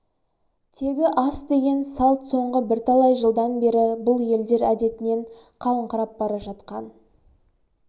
тегі ас деген салт соңғы бірталай жылдан бері бұл елдер әдетінен қалыңқырап бара жатқан